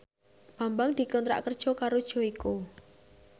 Bambang dikontrak kerja karo Joyko